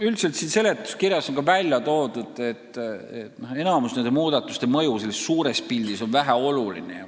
Üldiselt on seletuskirjas märgitud, et nende muudatuste mõju on suures pildis väike.